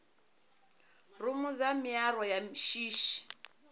rumu dza miaro ya shishi